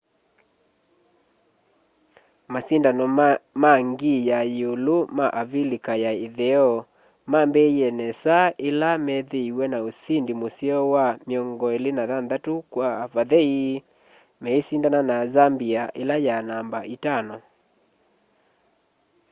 masindano ma ngii ya yiulu ma avilika ya itheo mambiie nesa ila meethiiwe na usindi museo wa 26 - 00 meisindana na zambia ila ya namba itano